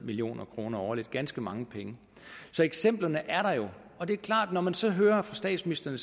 million kroner årligt ganske mange penge så eksemplerne er der jo og det er klart at når man så hører fra statsministeren